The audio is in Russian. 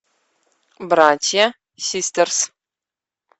братья систерс